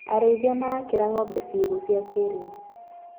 Arĩithia marakĩra ngombe ciugũ cia kĩrĩu.